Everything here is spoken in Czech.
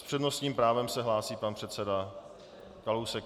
S přednostním právem se hlásí pan předseda Kalousek.